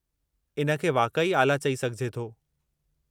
इन खे वाक़ई आला चई सघिजे थो।